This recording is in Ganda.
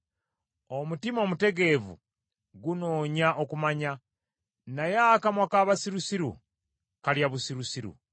Omutima omutegeevu gunoonya okumanya, naye akamwa k’abasirusiru kalya busirusiru.